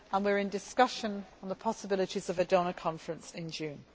we are in discussion on the possibilities of a donor conference in June.